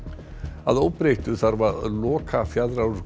að óbreyttu þarf að loka